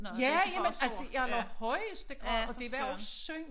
Ja jamen altså i allerhøjeste grad og det var også synd